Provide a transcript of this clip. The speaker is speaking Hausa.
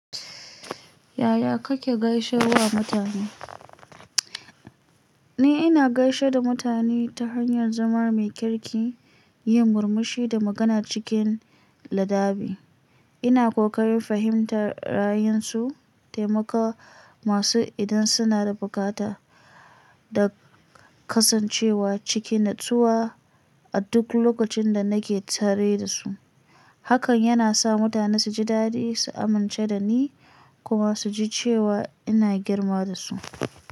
Yaya kake gaishe wa mutane? Ni ina gaishe da mutane ta hanyar zama mai kirki, yin murmushi da magana cikin ladabi. Ina ƙoƙarin fahimtar ra'ayinsu, taimakawa masu idan suna da bukata da kasancewa ciki natsuwa a duk lokacin da nake tare da su. Hakan yana sa mutane su ji daɗi, su amince da ni kuma su ji cewa ina girma da su.